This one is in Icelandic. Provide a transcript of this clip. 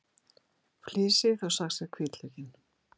Flysjið og saxið hvítlaukinn.